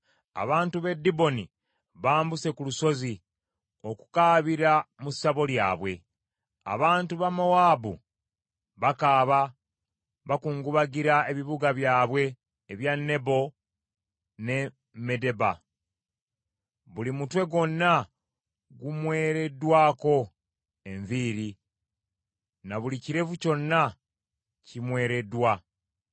Abantu b’e Diboni bambuse ku lusozi okukaabira mu ssabo lyabwe. Abantu ba Mowaabu bakaaba bakungubagira ebibuga byabwe ebya Nebo ne Medeba. Buli mutwe gwonna gumwereddwako enviiri na buli kirevu kyonna kimwereddwa.